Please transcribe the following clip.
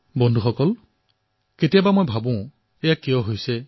বন্ধুসকল কেতিয়াবা কেতিয়াবা মই ভাবো যে এনে কিয় হৈছে